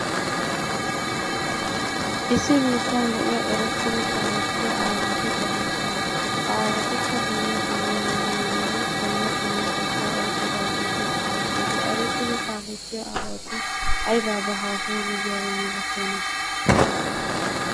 Issi biittan de'iya erettidi kaalettiya aawati de'oosona. Ha aawatikka dumma dumma maayuwanne dumma dumma qottaa oyiqqidaageeti de'oosona. Ha erettidi kaalettiya aawati ayibaabaa haasayiiddi diyabaa malatiyona?